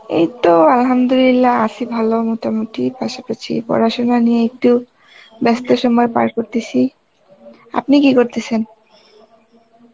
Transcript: এইতো Arbi আছি ভালো মোটামুটি, পাশাপাশি পড়াশোনা নিয়ে একটু ব্যাস্ত সময় পার করতেসি. আপনি কী করতেসেন?